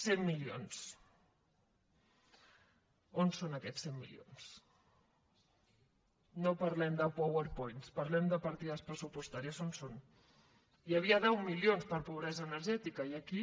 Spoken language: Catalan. cent milions on són aquests cent milions no parlem de powerpoints parlem de partides pressupostaries on són hi havia deu milions per pobresa energètica i aquí